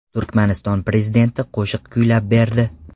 Turkmaniston prezidenti qo‘shiq kuylab berdi.